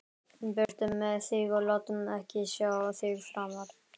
Burtu með þig og láttu ekki sjá þig framar!